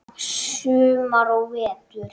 Sumar og vetur.